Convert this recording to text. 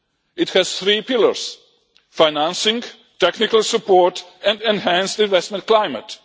It has three pillars financing, technical support and enhanced investment climate.